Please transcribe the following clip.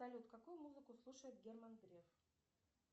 салют какую музыку слушает герман греф